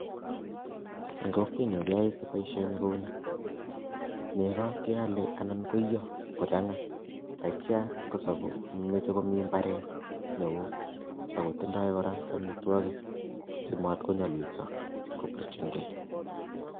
En kokwenyu keyoe booshoni kouni, neko keole anan koiyo kochanga, yeityo komoche komiten imbareet neyome neo, moche kora amitwogiik simatkonyolilsoo